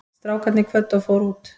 Strákarnir kvöddu og fóru út.